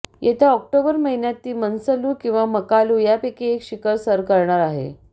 येत्या ऑक्टोबर महिन्यात ती मनसलू किंवा मकालू यापैकी एक शिखर सर करणार आहे